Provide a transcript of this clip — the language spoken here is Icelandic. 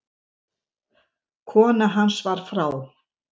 Kona hans var frá